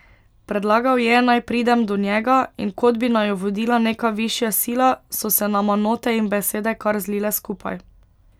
Predlagal je, naj pridem do njega, in kot bi naju vodila neka višja sila, so se nama note in besede kar zlile skupaj.